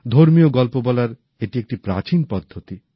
ধর্মীয় গল্প বলার এটি একটি প্রাচীন পদ্ধতি